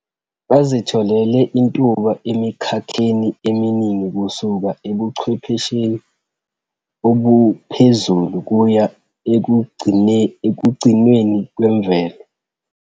Bazitholele intuba emikhakheni eminingi kusuka ebuchwephesheni obuphezulu kuya ekugcinweni kwemvelo.